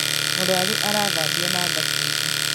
Mũrwaru arathambio na thabuni